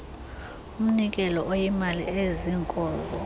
umnikelo oyimali eziinkozo